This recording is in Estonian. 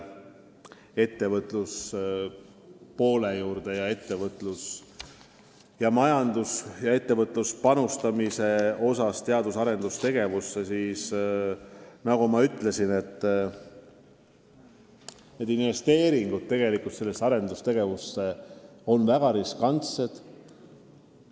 Mis puudutab ettevõtjate panust teadus- ja arendustegevusse, siis nagu ma ütlesin, need investeeringud tegelikult on väga riskantsed.